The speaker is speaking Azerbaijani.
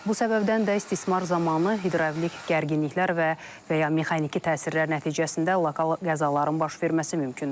Bu səbəbdən də istismar zamanı hidravlik gərginliklər və və ya mexaniki təsirlər nəticəsində lokal qəzaların baş verməsi mümkündür.